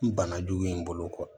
N bana jugu in bolo kɔ